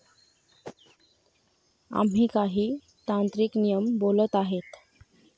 आम्ही काही तांत्रिक नियम बोलत आहेत.